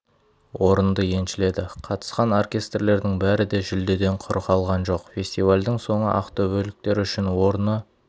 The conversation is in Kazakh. орынды еншіледі қатысқан оркестрлердің бәрі де жүлдеден құр қалған жоқ фестивальдің соңы ақтөбеліктер үшін орны